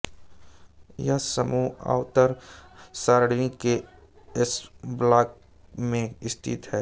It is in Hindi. यह समूह आवर्त सारणी के एसब्लॉक में स्थित है